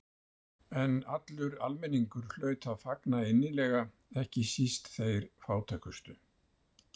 En allur almenningur hlaut að fagna innilega, ekki síst þeir fátækustu.